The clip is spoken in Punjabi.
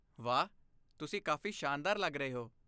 ਵਾਹ, ਤੁਸੀਂ ਕਾਫ਼ੀ ਸ਼ਾਨਦਾਰ ਲੱਗ ਰਹੇ ਹੋ।